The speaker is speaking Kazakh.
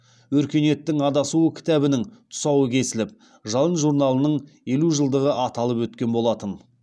өркениеттің адасуы кітабының тұсауы кесіліп жалын журналының елу жылдығы аталып өткен болатын